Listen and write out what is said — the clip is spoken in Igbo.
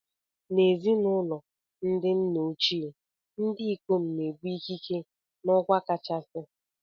N'ezinụlọ ndi nna ochie, ndị ikom na-ebu ikike na okwa kachasị